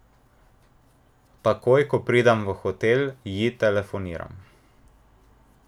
Takoj ko pridem v hotel, ji telefoniram.